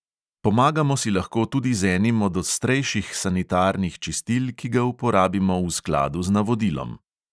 Pomagamo si lahko tudi z enim od ostrejših sanitarnih čistil, ki ga uporabimo v skladu z navodilom.